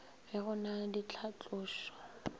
ge go na le ditlhatlošo